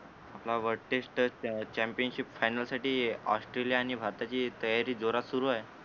तुला world test championship final साठी Australia आणि भारताची तयारी जोरात सुरु आहे